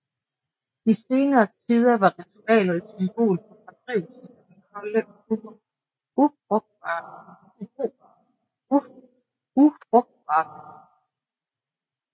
I senere tider var ritualet et symbol på fordrivelsen af den kolde og ufrugtbare vinter